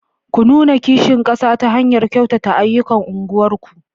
Ku nuna kishin kasa ta hanyar kyautata ayyukan unguwarku.